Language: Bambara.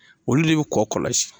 Olu de bi kɔ kɔlɔsi